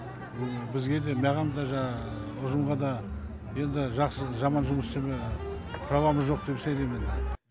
бұл бізге де маған да жаңағы ұжымға да енді жақсы жаман жұмыс және правамыз жоқ деп сеземін